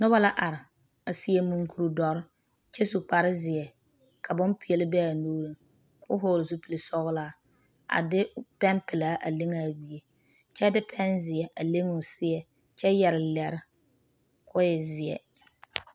Noba la are a seɛ munkuri doɔre., kyɛ su kpare zeɛ. ka bonpɛl be a nuuriŋ kɔ vɔgeli zupili sɔglaa. a de pɛnpɛlaa a leŋ a gbie kyɛ de pɛnzeɛ a leŋ o seɛŋ kyɛ yɛre lɛre kɔ e zeɛ.